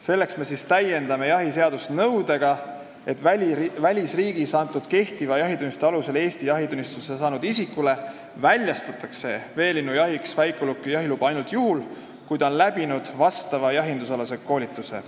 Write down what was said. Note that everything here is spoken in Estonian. Selleks me täiendame jahiseadust nõudega, et välisriigis antud kehtiva jahitunnistuse alusel Eesti jahitunnistuse saanud isikule väljastatakse veelinnujahiks väikeuluki jahiluba ainult juhul, kui ta on läbi teinud vastava jahinduskoolituse.